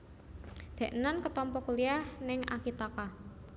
Deknen ketompo kuliah ning Akitaka